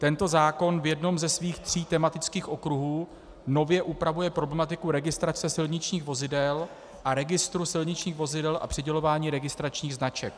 Tento zákon v jednom ze svých tří tematických okruhů nově upravuje problematiku registrace silničních vozidel a registru silničních vozidel a přidělování registračních značek.